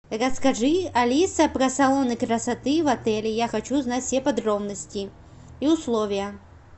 расскажи алиса про салоны красоты в отеле я хочу знать все подробности и условия